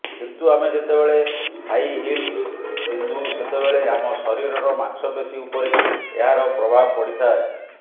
କିନ୍ତୁ ଆମେ ଯେତେବେଳେ ହାଇ ହିଲ୍ସ ପିନ୍ଧୁ ସେତେବେଳେ ଆମ ଶରୀରର ମାଂସପେଶୀ ଉପରେ ଏହାର ପ୍ରଭାବ ପଡ଼ିଥାଏ